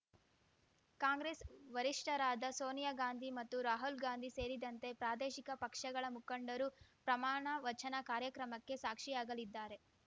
ಕಾಂಗ್ರೆಸ್‌ ವರಿಷ್ಠರಾದ ಸೋನಿಯಾ ಗಾಂಧಿ ಮತ್ತು ರಾಹುಲ್‌ ಗಾಂಧಿ ಸೇರಿದಂತೆ ಪ್ರಾದೇಶಿಕ ಪಕ್ಷಗಳ ಮುಖಂಡರು ಪ್ರಮಾಣ ವಚನ ಕಾರ್ಯಕ್ರಮಕ್ಕೆ ಸಾಕ್ಷಿಯಾಗಲಿದ್ದಾರೆ